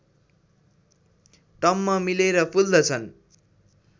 टम्म मिलेर फुल्दछन्